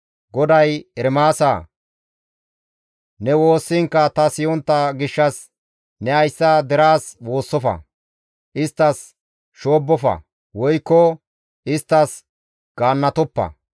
GODAY, «Ermaasa, ne woossiinkka ta siyontta gishshas ne hayssa deraas woossofa; isttas shoobbofa woykko isttas gaannatoppa.